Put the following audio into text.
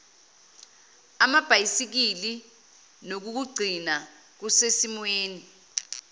amabhayisikili nokukugcina kusesimweni